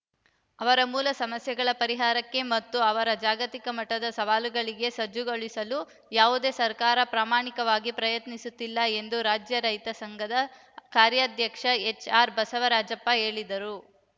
ಅವರ ಮೂಲ ಸಮಸ್ಯೆಗಳ ಪರಿಹಾರಕ್ಕೆ ಮತ್ತು ಅವರ ಜಾಗತಿಕ ಮಟ್ಟದ ಸವಾಲುಗಳಿಗೆ ಸಜ್ಜುಗೊಳಿಸಲು ಯಾವುದೇ ಸರ್ಕಾರ ಪ್ರಾಮಾಣಿಕವಾಗಿ ಪ್ರಯತ್ನಿಸುತ್ತಿಲ್ಲ ಎಂದು ರಾಜ್ಯ ರೈತ ಸಂಘದ ಕಾರ್ಯಾಧ್ಯಕ್ಷ ಎಚ್‌ಆರ್‌ ಬಸವರಾಜಪ್ಪ ಹೇಳಿದರು